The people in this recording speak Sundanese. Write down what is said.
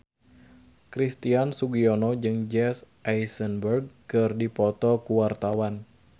Christian Sugiono jeung Jesse Eisenberg keur dipoto ku wartawan